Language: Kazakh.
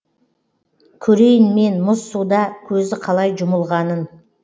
көрейін мен мұз суда көзі қалай жұмылғанын